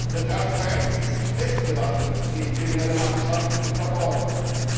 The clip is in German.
Denn Transparenz ist die beste Waffe gegen kriminelle Machenschaften im Verborgenen.